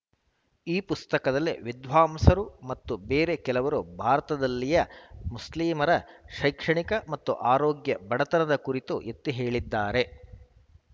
ಈ ಪುಸ್ತಕದಲ್ಲಿ ವಿದ್ವಾಂಸರು ಮತ್ತು ಬೇರೆ ಕೆಲವರು ಭಾರತದಲ್ಲಿಯ ಮುಸ್ಲಿಮರ ಶೈಕ್ಷಣಿಕ ಮತ್ತು ಆರೋಗ್ಯ ಬಡತನದ ಕುರಿತು ಎತ್ತಿಹೇಳಿದ್ದಾರೆ